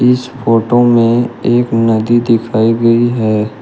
इस फोटो में एक नदी दिखाई गई है।